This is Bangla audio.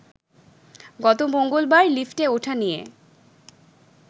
গত মঙ্গলবার লিফটে ওঠা নিয়ে